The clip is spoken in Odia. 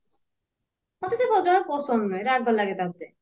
ମତେ ସେ ଜମା ପସନଦ ନୁହେଁ ରାଗ ଲାଗେ ତା ଉପରେ